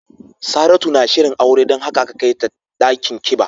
Saratu na shirin aure don haka aka kai ta dakin kiba.